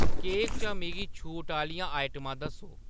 cake चा मिगी छूट आह्‌‌‌लियां आइटमां दस्सो